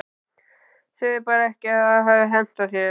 Segðu bara ekki að það hafi hentað þér.